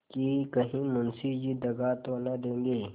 कि कहीं मुंशी जी दगा तो न देंगे